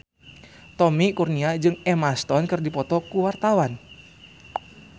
Tommy Kurniawan jeung Emma Stone keur dipoto ku wartawan